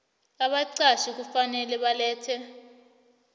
abaqatjhi kufanele balethe